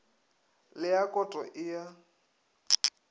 le ya koto e a